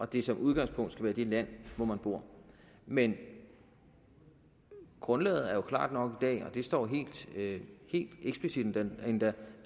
det som udgangspunkt skal være det land hvor man bor men grundlaget er jo klart nok i dag og det står helt eksplicit endda